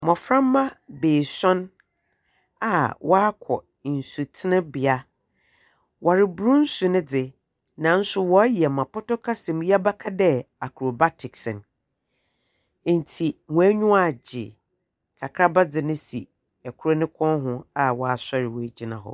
Mboframba beesuon a wɔakɔ nsutene bea, wɔreboro nsu no dze, nanso wɔreyɔ dza pɔtɔ kasa mu yɛbɛka dɛ acrobatics no, ntsi hɔn enyiwa agye. Kakraba dze no si kor no kɔn ho a ɔasoɛr ɔegyina hɔ.